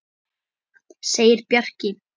segir Bjarki.